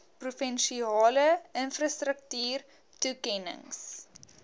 provinsiale infrastruktuur toekennings